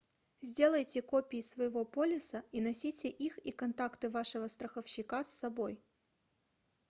сделайте копии своего полиса и носите их и контакты вашего страховщика с собой